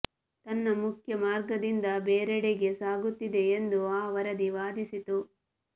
ತನ್ನ ಮುಖ್ಯ ಮಾರ್ಗದಿಂದ ಬೇರೆಡೆಗೆ ಸಾಗುತ್ತಿದೆ ಎಂದು ಆ ವರದಿ ವಾದಿಸಿತು